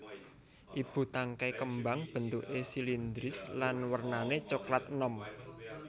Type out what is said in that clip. Ibu tangkai kembang bentuké silindris lan wernané coklat enom